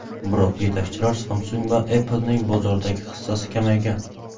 Biroq yetakchilar Samsung va Apple’ning bozordagi hissasi kamaygan.